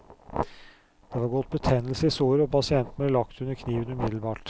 Det var gått betennelse i såret, og pasienten ble lagt under kniven umiddelbart.